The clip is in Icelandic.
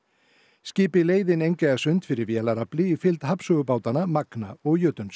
skipið leið inn fyrir vélarafli í fylgd magna og